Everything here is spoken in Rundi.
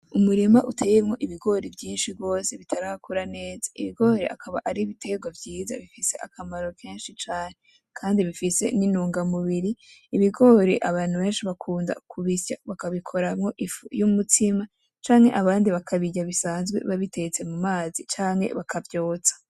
Umurima uteyemwo ibigori vyinshi bitarakura neza. Ibigori akaba ari ibiterwa vyiza bifise akamaro kenshi cane kandi nintunga mubiri. Ibigori benshi bakunda kubisya bakabikuramwo ifu yumutsima canke abandi bakabirya bisanzwe babitetse mu mazi canke bakavyotsa .